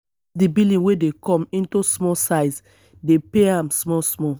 cut di billing wey dey come into small size dey pay am small small